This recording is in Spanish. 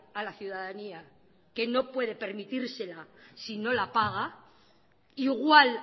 a la ciudadanía que no puede permitírsela si no la paga igual